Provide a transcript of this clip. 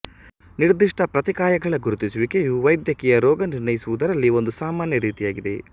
ನಿರ್ದಿಷ್ಟ ಪ್ರತಿಕಾಯಗಳ ಗುರುತಿಸುವಿಕೆಯು ವೈದ್ಯಕೀಯ ರೋಗ ನಿರ್ಣಯಿಸುವುದರಲ್ಲಿ ಒಂದು ಸಾಮಾನ್ಯ ರೀತಿಯಾಗಿದೆ